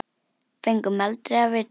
Fengum aldrei að vita það.